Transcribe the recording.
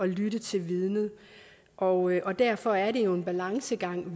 lytte til vidnet og og derfor er det jo en balancegang